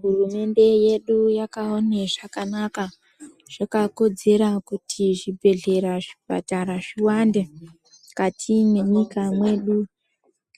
Hurumende yedu yakaone zvakanaka zvakakodzera kuti zvibhedhlera zvipatara zviwande kati mwenyika mwedu